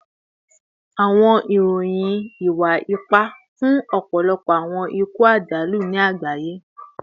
Awọn iroyin iwa-ipa fun ọpọlọpọ awọn iku ajalu ni agbaye